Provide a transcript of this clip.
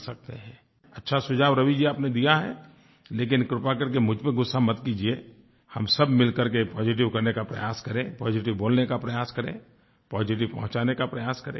अच्छा सुझाव रवि जी आपने दिया है लेकिन कृपा करके मुझ पर गुस्सा मत कीजिएI हम सब मिल करके पॉजिटिव करने का प्रयास करें पॉजिटिव बोलने का प्रयास करें पॉजिटिव पहुँचाने का प्रयास करेंI